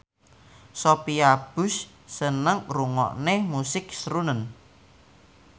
Sophia Bush seneng ngrungokne musik srunen